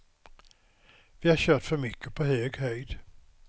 Vi har kört för mycket på hög höjd.